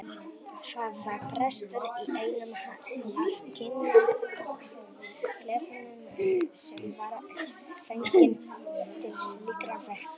Það var prestur í einum af hinum klefunum sem var fenginn til slíkra verka.